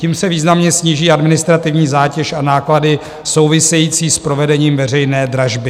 Tím se významně sníží administrativní zátěž a náklady související s provedením veřejné dražby.